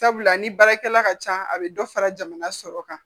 Sabula ni baarakɛla ka ca a bɛ dɔ fara jamana sɔrɔ kan